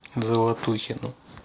золотухину